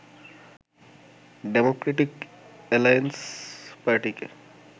Democratic alliance পার্টিকে